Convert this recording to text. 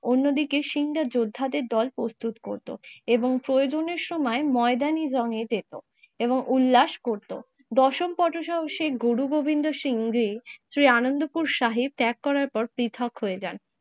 অন্যদিকে সিং রা যোদ্ধাদের দল প্রস্তুত করতো এবং প্রয়োজনের সময় ময়দানি জংগে যেত এবং উল্লাস করতো। দশম পথসাহসিক গুরুগোবিন্দ সিং জি যে আনন্দপুর সাহেব ত্যাগ করার পর পৃথক হয়ে যান